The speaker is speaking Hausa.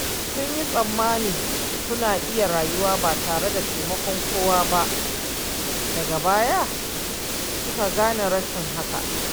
Sun yi tsammanin suna iya rayuwa ba tare da taimakon kowa ba, daga baya suka gane rashin haka.